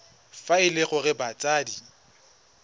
fa e le gore batsadi